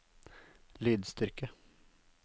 lydstyrke